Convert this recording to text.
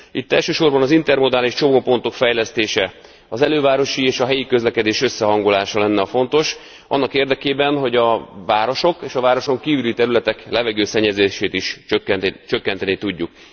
Itt elsősorban az intermodális csomópontok fejlesztése, az elővárosi és helyi közlekedés összehangolása lenne a fontos annak érdekében, hogy a városok és a városon kívüli területek levegőszennyeződését is csökkenteni tudjuk.